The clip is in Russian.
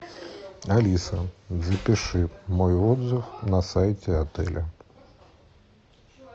алиса запиши мой отзыв на сайте отеля